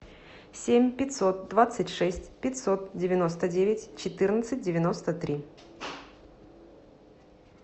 семь пятьсот двадцать шесть пятьсот девяносто девять четырнадцать девяносто три